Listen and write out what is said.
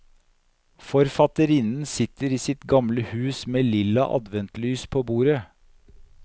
Forfatterinnen sitter i sitt gamle hus med lilla adventslys på bordet.